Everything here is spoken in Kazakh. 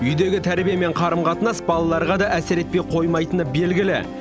үйдегі тәрбие мен қарым қатынас балаларға да әсер етпей қоймайтыны белгілі